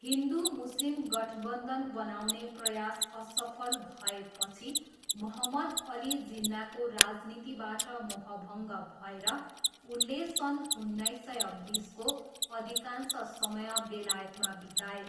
हिन्दु मुस्लिम गठबन्धन बनाउने प्रयास असफल भएपछि मोहम्मद अली जिन्नाको राजनीतिबाट मोहभङ्ग भएर उनले सन् उन्नाइस सय बिसको अधिकांश समय बेलायतमा बिताए।